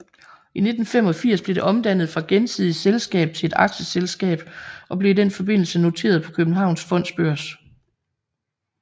I 1985 blev det omdannet fra gensidigt selskab til et aktieselskab og blev i den forbindelse noteret på Københavns Fondsbørs